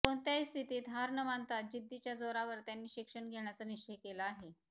कोणत्याही स्थितीत हार न मानता जिद्दीच्या जोरावर त्यांनी शिक्षण घेण्याचा निश्चय केला आहे